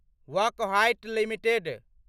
Wockhardt limited